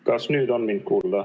Kas nüüd on mind kuulda?